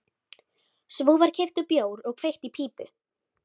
Svo var keyptur bjór og kveikt í pípu.